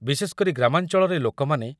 ବିଶେଷକରି ଗ୍ରାମାଞ୍ଚଳରେ ଲୋକମାନେ